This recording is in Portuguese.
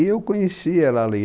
E eu conheci ela ali.